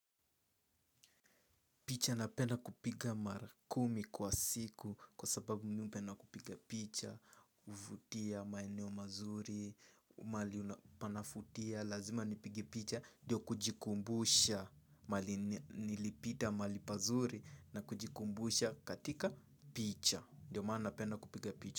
Picha napenda kupiga mara kumi kwa siku kwa sababu mi hupenda kupiga picha, huvutia, maeneo mazuri, mahali panafutia, lazima nipige picha, ndio kujikumbusha, mahali nilipita mahali pazuri na kujikumbusha katika picha, ndio maana napenda kupiga picha.